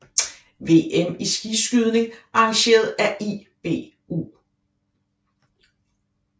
VM i skiskydning arrangeret af IBU